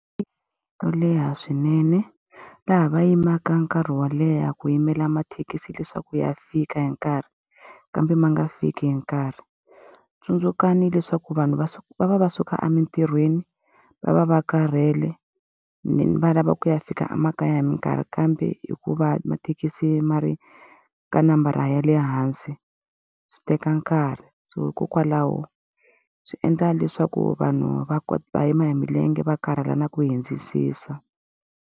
To leha swinene laha va yimaka nkarhi wo leha ku yimela mathekisi leswaku ya fika hi nkarhi, kambe ma nga fiki hi nkarhi. Tsundzukani leswaku vanhu va va va va suka emintirhweni, va va va karhele, va lava ku ya fika emakaya hi minkarhi kambe hikuva mathekisi ma ri ka nambara ya le hansi, swi teka nkarhi. So hikokwalaho swi endla leswaku vanhu va va yima hi milenge va karhala na ku .